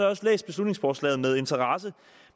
også læst beslutningsforslaget med interesse